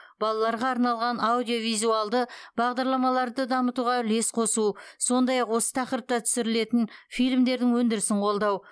балаларға арналған аудио визуалды бағдарламаларды дамытуға үлес қосу сондай ақ осы тақырыпта түсірілетін фильмдердің өндірісін қолдау